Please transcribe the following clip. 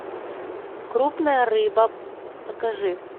крупная рыба покажи